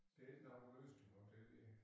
Det ikke nok at løse det på det